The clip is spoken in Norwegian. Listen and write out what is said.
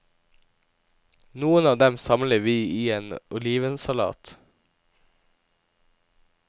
Noen av dem samler vi i en olivensalat.